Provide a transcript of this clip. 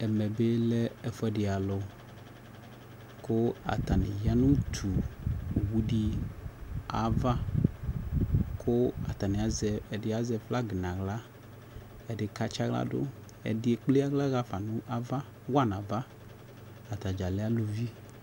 Ɛmɛ bi lɛ ɛfʋɛdi alʋ kʋ atani ya nʋ utu owu di ava kʋ atani azɛ, ɛdi azɛ flagi n'aɣa, ɛdi katsi aɣla dʋ Ɛdi ekple aɣla ɣafa nʋ ava, wa nava Atadza lɛ alʋvi